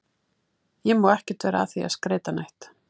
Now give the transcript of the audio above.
Ég má ekkert vera að því að skreyta neitt.